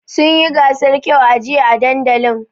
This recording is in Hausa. Sun yi gasar kyau a jiya a dandalin.